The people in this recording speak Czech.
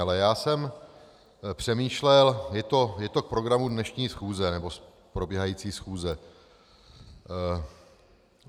Ale já jsem přemýšlel, je to v programu dnešní schůze, nebo probíhající schůze.